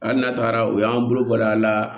Hali n'a taara u y'an bolo bɔl'a la